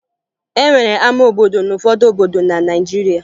E nwere ama obodo n'ụfọdụ obodo na Naịjirịa